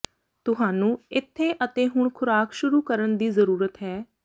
ਤੁਹਾਨੂੰ ਇੱਥੇ ਅਤੇ ਹੁਣ ਖੁਰਾਕ ਸ਼ੁਰੂ ਕਰਨ ਦੀ ਜ਼ਰੂਰਤ ਹੈ